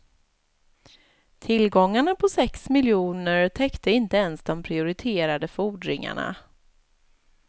Tillgångarna på sex miljoner täckte inte ens de prioriterade fordringarna.